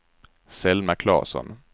Selma Claesson